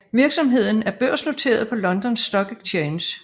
Virksomheden er børsnoteret på London Stock Exchange